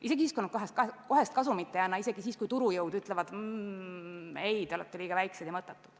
Isegi siis, kui nad kohest kasumit ei anna, isegi siis, kui turujõud ütlevad: ei, te olete liiga väiksed ja mõttetud.